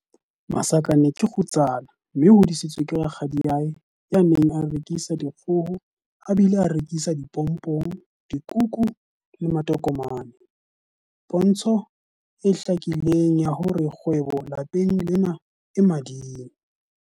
Masakane ke kgutsana mme o hodisitswe ke rakgadiae ya neng a rekisa dikgoho a bile a rekisa dipompong, dikuku le matokomane- pontsho e hlakileng ya hore kgwebo lapeng lena e mading.